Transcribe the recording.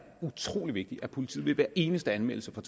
utrolig vigtigt at politiet tager hver eneste anmeldelse